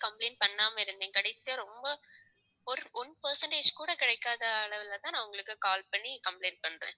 complaint பண்ணாம இருந்தேன். கடைசியா ரொம்ப ஒரு one percentage கூட கிடைக்காத அளவுலதான் நான் உங்களுக்கு call பண்ணி complaint பண்றேன்.